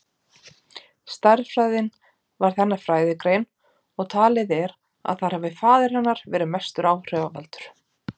Stærðfræðin varð hennar fræðigrein og talið er að þar hafi faðir hennar verið mestur áhrifavaldur.